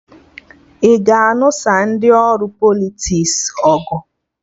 Ị ga-anụsa ndị ori Politiks ọgụ?